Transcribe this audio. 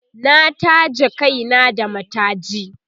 na taje Kai na da mataji